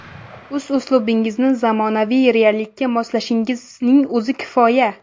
O‘z uslubingizni zamonaviy reallikka moslashning o‘zi kifoya.